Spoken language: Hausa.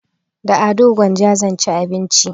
Da ado gwanja zan ci abinci